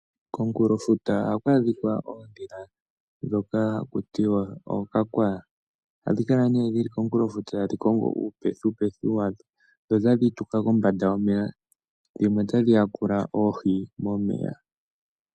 Komunkulofuta ohaku adhika oondhila ndhoka haku tiwa Ookakwaya . Ohadhi kala ne dhili komunkulofuta tadhi kongo uupethipethi wadho , dho tadhi tuka kombanda yomeya dhimwe tadhi ya kula oohi momeya.